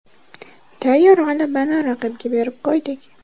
Tayyor g‘alabani raqibga berib qo‘ydik.